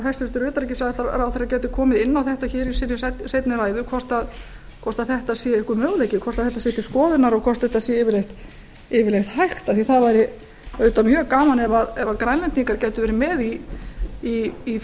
hæstvirtur utanríkisráðherra geti komið inn á þetta hér í sinni seinni ræðu hvort þetta sé einhver möguleiki hvort þetta sé til skoðunar og hvort þetta sé yfirleitt hægt því það væri auðvitað mjög gaman ef grænlendingar gætu verið með í